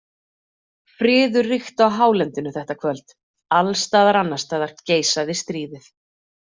Friður ríkti á hálendinu þetta kvöld, alls staðar annars staðar geisaði stríðið.